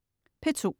P2: